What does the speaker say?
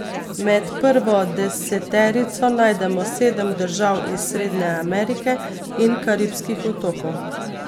Med prvo deseterico najdemo sedem držav iz Srednje Amerike in Karibskih otokov.